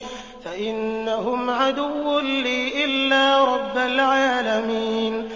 فَإِنَّهُمْ عَدُوٌّ لِّي إِلَّا رَبَّ الْعَالَمِينَ